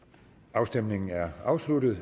afstemningen er afsluttet